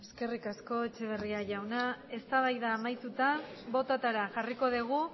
eskerrik asko etxeberria jauna eztabaida amaituta bototara jarriko dugu